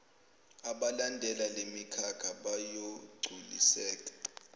abalandela lemikhakha bayogculiseka